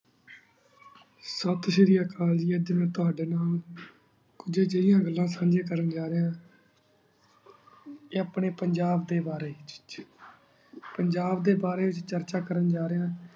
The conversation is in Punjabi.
ਸਸ੍ਰੀਆਕਲ ਜੀ ਅਜੇ ਮੈਂ ਤਵਾਡੀ ਨਾਲ ਇਹੀ ਜਾਏ ਗਾਲਾਂ ਸੰਝਿਯਾਂ ਕਰਨ ਜਾ ਰਿਯ ਆਯ ਅਪਨੀ ਪੰਜਾਬ ਦੇ ਬਰੀ ਪੰਜਾਬ ਦੇ ਬਰੀ ਚਰਚਾ ਕਰਨ ਜਾ ਰਿਯ